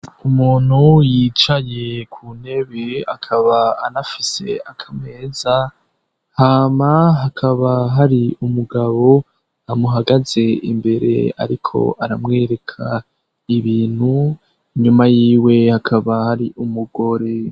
umuntu yicaye ku ntebe akaba anafise akameza hama hakaba hari umugabo amuhagaze imbere ariko aramwereka ibintu nyuma y'iwe hakaba hari umugore